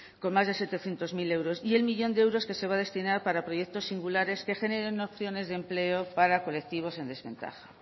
con más de setecientos mil euros y el millón de euros que se va a destinar para proyectos singulares que generen opciones de empleo para colectivos en desventaja